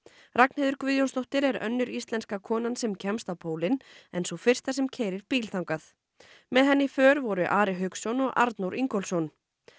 Ragnheiður Guðjónsdóttir er önnur íslenska konan sem kemst á pólinn en sú fyrsta sem keyrir bíl þangað með henni í för voru Ari Hauksson og Arnór Ingólfsson